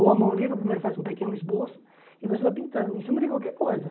Ou à mão livre, primeiro faz um pequeno esboço e você vai pintando em cima de qualquer coisa.